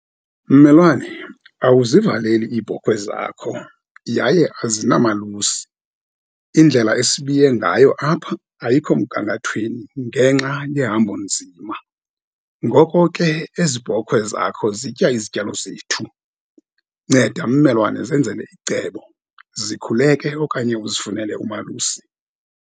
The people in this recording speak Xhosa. Mmelwane, awuzivaleli iibhokhwe zakho yaye azinamalusi. Indlela esibiye ngayo apha ayikho mgangathweni ngenxa yehambonzima. Ngoko ke ezi bhokhwe zakho zitya izityalo zethu. Nceda, mmelwane, zenzele icebo, zikhuleke okanye uzifunele umalusi.